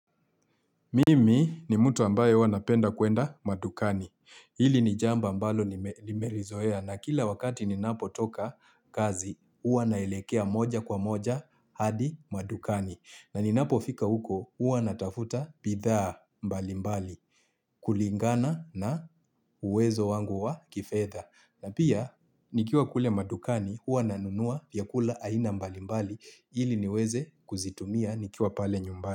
Mimi ni mtu ambaye huwa napenda kuenda madukani. Hili ni jamba ambalo nime nimerizoea na kila wakati ninapo toka kazi, uwa naelekea moja kwa moja hadi madukani. Na ni napo fika huko, huwa natafuta bidhaa mbali mbali. Kulingana na uwezo wangu wa kifedha. Na pia, nikiwa kule madukani, huwa nanunua vyakula aina mbali mbali. Ili niweze kuzitumia nikiwa pale nyumbani.